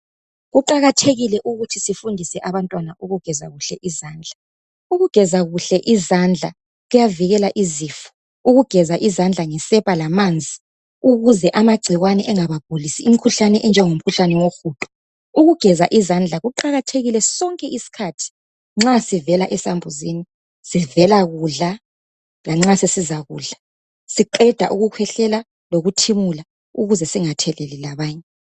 Kuqakathekile ukuthi sifundise abantwana ukugeza kuhle izandla. Ukugeza kuhle izandla kuyavikela izifo. Ukugeza izandla ngesepa lamanzi ukuze amagcikwane engabagulisi imikhuhlane enjengomkhuhlane wohudo. Ukugeza izandla kuqakathekile sonke isikhathi nxa sivela esambuzini, sivela kudla lanxa sesizakudla, siqeda ukukhwehlela lokuthimula ukuze singatheleli labanye.